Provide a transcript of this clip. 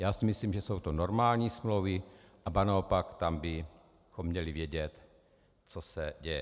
Já si myslím, že jsou to normální smlouvy, ba naopak, tam bychom měli vědět, co se děje.